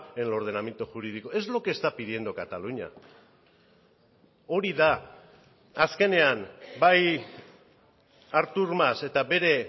en el ordenamiento jurídico es lo que está pidiendo cataluña hori da azkenean bai artur mas eta bere